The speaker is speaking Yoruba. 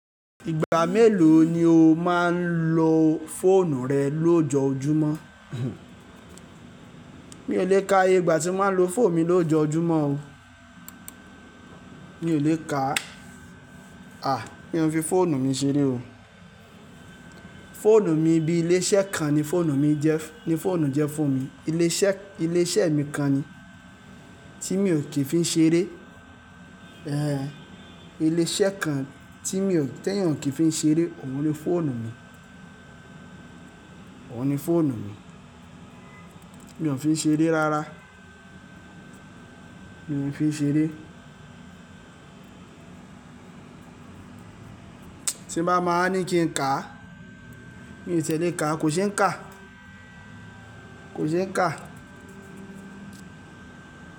Ìgbà mélòó ni o máa ń lo fóònù rẹ lójoojúmọ́? Mi ò lè ka iye igba tí máa ń lo fóònù mi lójoojúmọ́ o. Mi ò lè ka, à, mi o n fi fóònù mi ṣeré o. Fóònù mi bí ilé iṣẹ́ kan ni fóònù mi jẹ́, ni fóònù jẹ́ fún mi. Ilé iṣẹ́, ilé iṣẹ́ mi kan ni tí mi ò kì í fi ń ṣeré. Ehn, ilé iṣẹ́ kan tí mi ò te yàn o kí n fi ń ṣeré, òun ni fóònù mi. Òun ni fóònù mi. Mi ò fi ń ṣeré rárá. Mi ò fi ń ṣeré. Tí n bá máa a ní kí n kà á, mi ò tí ẹ lè ká. Kò ṣe n kà. Kò ṣe é kà.